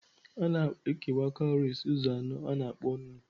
A na-ekewa cowries ụzọ anọ a na-akpọ nnu.